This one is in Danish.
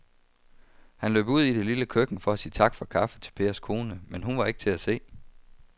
Han løb ud i det lille køkken for at sige tak for kaffe til Pers kone, men hun var ikke til at se.